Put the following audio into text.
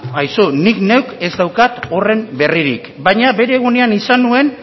ba aizu nik neuk ez daukat horren berririk baina bere unean izan nuen